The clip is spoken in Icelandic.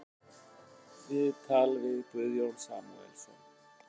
Viðtal við Guðjón Samúelsson